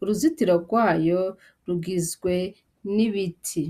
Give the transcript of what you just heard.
uruzitiro rwayo rugizwe n' ibiti.